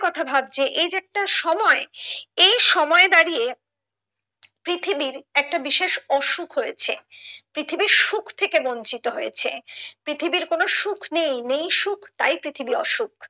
কথা ভাবছে এই যে একটা সময় এই সময়ে দাঁড়িয়ে পৃথিবীর একটা বিশেষ অসুখ হয়েছে পৃথিবী সুখ থেকে বঞ্চিত হয়েছে পৃথিবীর কোনো সুখ নেই, নেই সুখ তাই তাই পৃথিবী অসুখ